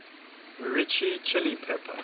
mirchi chilli pepper